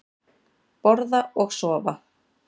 Borða og sofa.